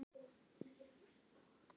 Svo þetta verði ekki of náið.